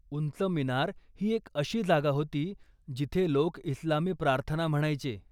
उंच मिनार ही एक अशी जागा होती जिथे लोक इस्लामी प्रार्थना म्हणायचे.